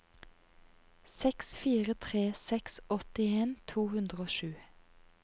seks fire tre seks åttien to hundre og sju